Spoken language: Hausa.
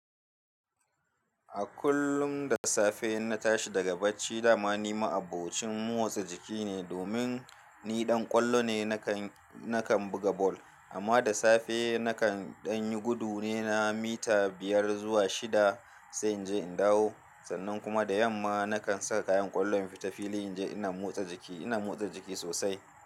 A kullum da safe in na tashi daga bacci dama ni ma'abocin motsa jiki ne domin ni ɗan ƙwallo ne nakan, nakan buga ball. Amma da safe nakan ɗan yi gudu ne na mita biyar zuwa shida sai in je in dawo. Sannan kuma da yamma nakan saka kayan ƙwallo in fita filin in je ina motsa jiki, ina motsa jiki sosai.